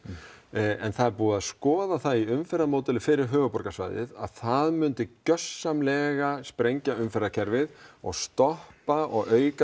en það er búið að skoða það í umferðarmódeli fyrir höfuðborgarsvæðið að það myndi gjörsamlega sprengja umferðarkerfið og stoppa og auka